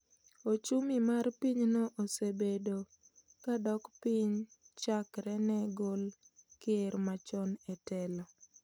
Ochumi mar pinyno osebedo kadok piny chakre ne gol ker machon e telo